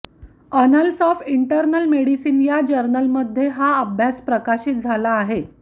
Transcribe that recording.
Annals of Internal Medicine या जर्नलमध्ये हा अभ्यास प्रकाशित झाला आहे